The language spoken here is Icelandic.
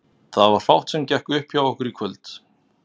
Það var fátt sem gekk upp hjá okkur í kvöld.